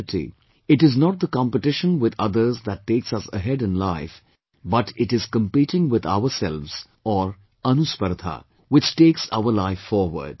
In reality, it is not the competition with others that takes us ahead in life but it is competing with ourselves or 'ANUSPARDHA', which takes our life forward